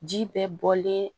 Ji bɛɛ bɔlen